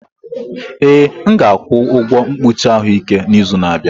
Ee, m ga-akwụ ụgwọ mkpuchi ahụike n'izu na-abịa.